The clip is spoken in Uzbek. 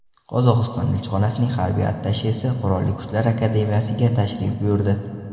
Qozog‘iston elchixonasining harbiy attashesi Qurolli Kuchlar akademiyasiga tashrif buyurdi.